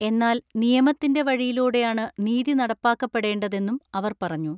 എന്നാൽ നിയമത്തിന്റെ വഴിയിലൂടെയാണ് നീതി നടപ്പാക്കപ്പെടേണ്ടതെന്നും അവർ പറഞ്ഞു.